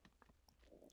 DR K